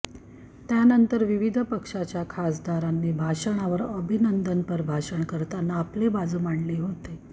त्यानंतर विविध पक्षाच्या खासदारांनी अभिभाषणावर अभिनंदनपर भाषण करताना आपली बाजू मांडली होती